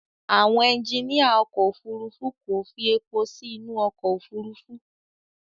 Àwọn ẹjiníà ọkọ̀ Òfurufú kò fi èpò sí inú ọkọ̀ Òfurufú.